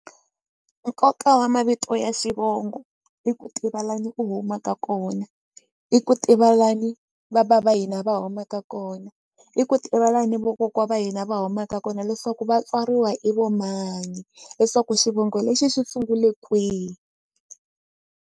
Nkoka wa mavito ya xivongo i ku tiva lani u humaka kona i ku tiva lani va bava hina va humaka kona i ku tiva lani vokokwa va hina va humaka kona leswaku va tswariwa i vo mani leswaku xivongo lexi xi sungule kwihi.